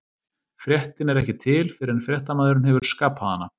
Fréttin er ekki til fyrr en fréttamaðurinn hefur skapað hana.